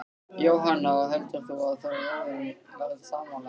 Jóhanna: Og heldur þú að þjóðin verði sammála þér?